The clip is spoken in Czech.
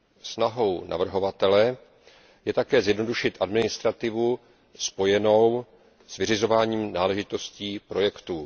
Snahou navrhovatele je také zjednodušit administrativu spojenou s vyřizováním náležitostí projektů.